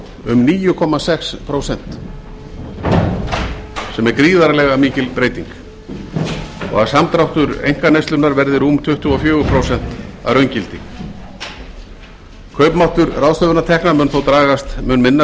um níu komma sex prósent sem er gríðarlega mikil breyting og samdráttur einkaneyslunnar verði rúm tuttugu og fjögur prósent að raungildi kaupmáttur ráðstöfunartekna mun þó dragast mun minna